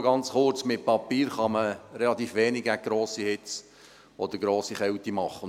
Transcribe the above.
Nur ganz kurz: Mit Papier kann man relativ wenig gegen grosse Hitze oder grosse Kälte tun.